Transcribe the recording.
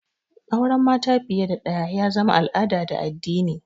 Auran mata fiye da ɗaya ya zama al'ada da addini